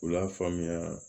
U y'a faamuya